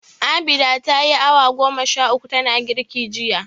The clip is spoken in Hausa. Abinda ta yi awa goma sha uku tana girki jiya.